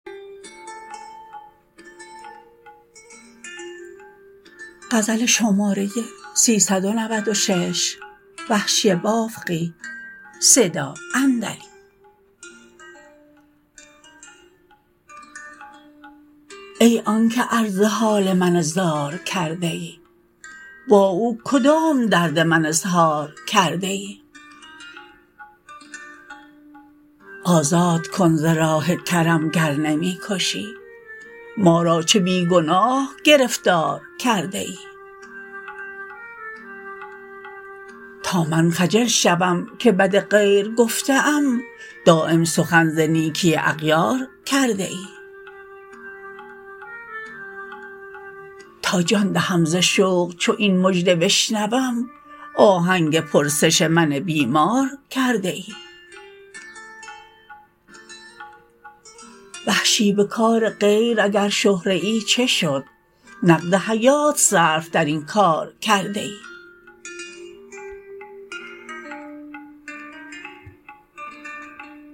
ای آنکه عرض حال من زار کرده ای با او کدام درد من اظهار کرده ای آزاد کن ز راه کرم گر نمی کشی ما را چه بی گناه گرفتار کرده ای تا من خجل شوم که بد غیر گفته ام دایم سخن ز نیکی اغیار کرده ای تا جان دهم ز شوق چو این مژده بشنوم آهنگ پرسش من بیمار کرده ای وحشی به کار غیر اگر شهره ای چه شد نقد حیات صرف در این کار کرده ای